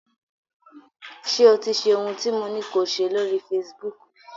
Ṣé o ti ṣe ohun tí mo ní ko ṣe lóri Facebook?